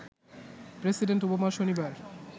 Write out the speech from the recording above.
president Obama শনিবার